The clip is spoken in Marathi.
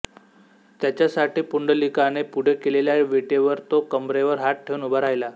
त्याच्यासाठी पुंडलिकाने पुढे केलेल्या विटेवर तो कंबरेवर हात ठेवून उभा राहिला